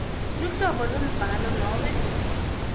luhlobo lwembhalo nobe